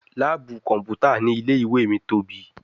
Laabu kọnputa ni ile-iwe mi tobi